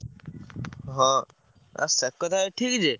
ହଁ। ଆଉ ସେ କଥା ଠିକ୍ ଯେ।